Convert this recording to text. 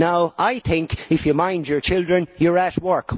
Now I think that if you mind your children, you are at work.